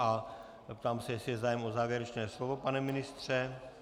A ptám se, jestli je zájem o závěrečné slovo, pane ministře.